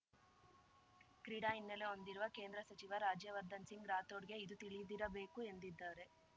ಕ್ರೀಡಾ ಹಿನ್ನೆಲೆ ಹೊಂದಿರುವ ಕೇಂದ್ರ ಸಚಿವ ರಾಜ್ಯವರ್ಧನ್‌ ಸಿಂಗ್‌ ರಾಥೋಡ್‌ಗೆ ಇದು ತಿಳಿದಿರಬೇಕು ಎಂದಿದ್ದಾರೆ